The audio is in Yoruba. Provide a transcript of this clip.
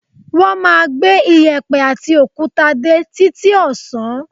Wọ́n máa gbé iyẹ̀pẹ̀ àti òkúta dé títí ọ̀sán